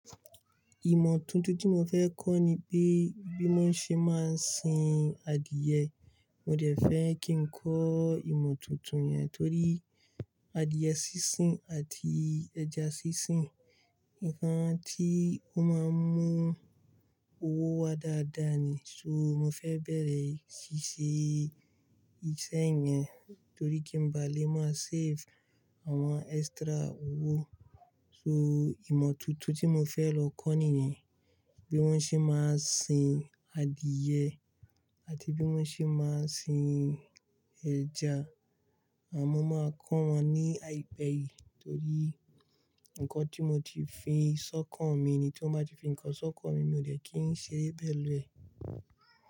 Ìmọ̀ tuntun tí mo fẹ́ kọ́ ni pé bí mo ṣe máa ń sin adìyẹ. Mo dẹ̀ fẹ́ kí n kọ́ ìmọ̀ tuntun yẹn torí adìyẹ sísìn àti ẹja sísìn, ǹkan tí ó máa ń mú owó wá dáadáa ni. So mo fẹ́ bẹ̀rẹ̀ ṣíṣe iṣẹ́ yẹn torí kí n ba lè máa save àwọn extra owó. So ìmọ̀ tuntun tí mo fẹ́ lọ kọ́ nìyẹn. Bí wón ṣe máa ń sin adìẹ àti bí wón ṣe máa ń sin ẹja. Àmọ́ máa kọ́ wọn ní àìpẹ́ yìí torí ǹkan tí mo ti fi ṣọ́kàn mi ni tí mọ́ bá ti fi ń kan ṣọ́kàn mi, mi ò dẹ́ kí ń ṣeré pelu e.